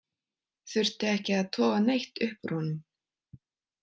Þurfti ekki að toga neitt upp úr honum.